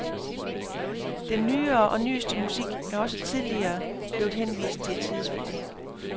Den nyere og nyeste musik er også tidligere blevet henvist til et sidespor.